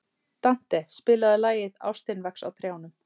Dante, spilaðu lagið „Ástin vex á trjánum“.